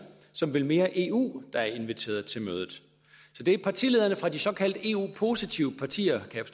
som vil mere eu der er inviteret til mødet så det er partilederne fra de såkaldt eu positive partier kan